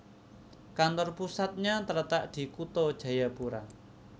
Kantor pusatnya terletak di Kutha Jayapura